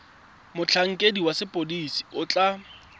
motlhankedi wa sepodisi o tla